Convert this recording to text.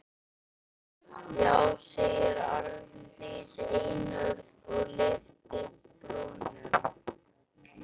Já, segir Arndís einörð og lyftir brúnum.